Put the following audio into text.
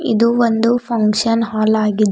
ಇದು ಒಂದು function hall ಆಗಿದೆ.